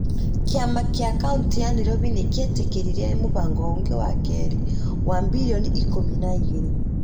Kĩama kĩa Kauntĩ ya Nairobi nĩ kĩetĩkĩrire mũbango ũngĩ wa kerĩ wa mbirioni ikũmi na igĩrĩ .